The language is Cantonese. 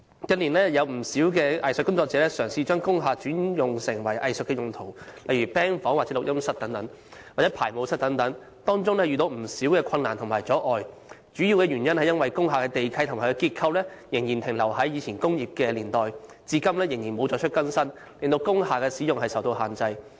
近年有不少藝術工作者嘗試把工廈轉成藝術用途，例如 "band 房"、錄音室、排舞室等，當中遇到不少困難及阻礙，主要是因為工廈地契及其結構仍然停留在過往工業年代，至今仍未作出更新，令工廈使用受到限制。